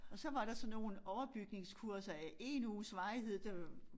Og så var der så nogle overbygningskurser af 1 uges varighed der